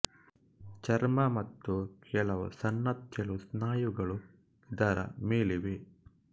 ಚರ್ಮ ಮತ್ತು ಕೆಲವು ಸಣ್ಣ ತೆಳು ಸ್ನಾಯುಗಳು ಇದರ ಮೇಲಿವೆ